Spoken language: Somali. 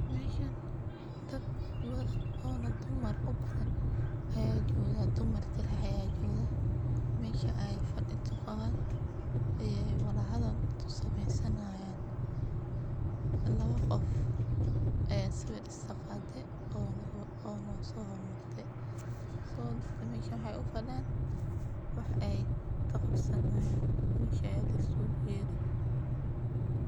Meashan dad badan o dumar u badan aya jooga dumar kali aya joga. Mesha ay fadi kuqaban ayay wala hadal kusameysani hayan labo qoof aya sawir iskaqaday ona sohormartay so dadka mesha waxay u fadiyan wax ay kaqabsani hayan mesha aya laisuga yeeri.